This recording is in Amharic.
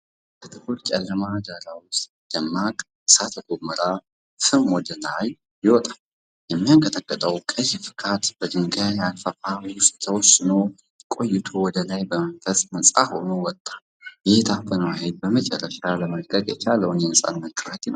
ከጥቁር ጨለማ ዳራ ውስጥ ደማቅ እሳተ ገሞራ ፍም ወደ ላይ ይወጣል። የሚያንቀጠቅጠው ቀይ ፍካት በድንጋይ አፋፍ ውስጥ ተወስኖ ቆይቶ ወደ ላይ በመንፈስ ነፃ ሆኖ ወጣ። ይህ የታፈነው ኃይል በመጨረሻ ለመልቀቅ የቻለውን የነፃነት ጩኸት ይመስላል።